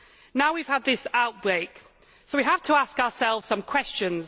Now we have had this outbreak, so we have to ask ourselves some questions.